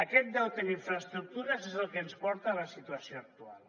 aquest deute en infraestructures és el que ens porta a la situació actual